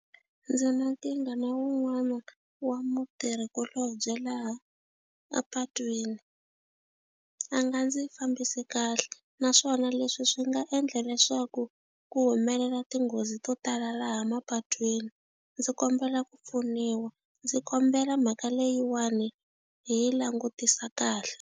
Ndzi na tinga na wun'wana wa mutirhikulobye laha a patwini a nga ndzi fambisi kahle naswona leswi swi nga endla leswaku ku humelela tinghozi to tala laha mapatwini ndzi kombela ku pfuniwa ndzi kombela mhaka leyiwani hi langutisa kahle.